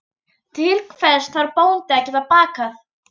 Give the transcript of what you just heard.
Til hvers þarf bóndi að geta bakað?